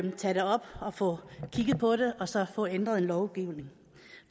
at tage det op og få kigget på det og så få ændret lovgivningen